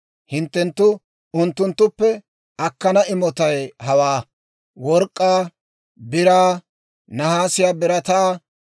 Hinttenttu unttunttuppe akkana imotay hawaa: work'k'aa, biraa, nahaasiyaa birataa,